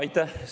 Aitäh!